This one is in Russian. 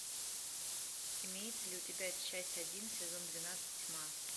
имеется ли у тебя часть один сезон двенадцать тьма